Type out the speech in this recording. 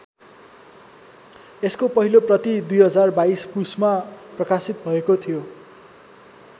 यसको पहिलो प्रति २०२२ पुसमा प्रकाशित भएको थियो।